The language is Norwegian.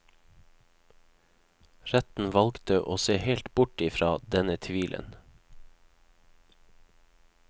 Retten valgt å se helt bort i fra denne tvilen.